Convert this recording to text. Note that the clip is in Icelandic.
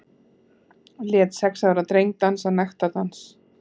Lét sex ára dreng dansa nektardans